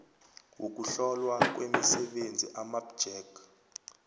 wokuhlolwa kwemisebenzi amapjec